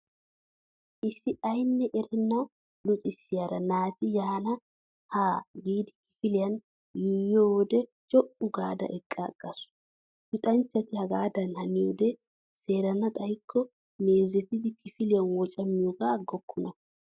Issi aynne erenna luxissiyaara naati yaanne haa giidi kifiliyan yuuyyiyo wode co'u gaada eqqa aggaasu. Luxanchchati hagaadan haniyoode seerana xayikko meezetiidi kifiliyan wocamiyoogaa aggokonna.